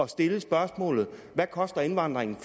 stille spørgsmålet hvad koster indvandringen